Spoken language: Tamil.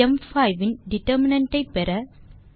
ம்5 இன் டிட்டர்மினன்ட் ஐ பெற